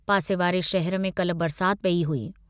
पासे वारे शहर में कल्ह बरसात पेई हुई।